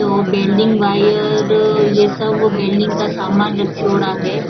ओ welding wire ये सब welding का सामान राखियोडा है।